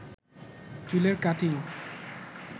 চুলের কাটিং